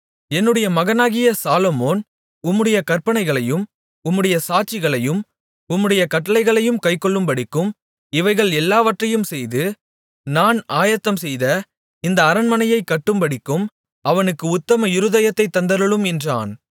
என்னுடைய மகனாகிய சாலொமோன் உம்முடைய கற்பனைகளையும் உம்முடைய சாட்சிகளையும் உம்முடைய கட்டளைகளையும் கைக்கொள்ளும்படிக்கும் இவைகள் எல்லாவற்றையும் செய்து நான் ஆயத்தம்செய்த இந்த அரண்மனையைக் கட்டும்படிக்கும் அவனுக்கு உத்தம இருதயத்தைத் தந்தருளும் என்றான்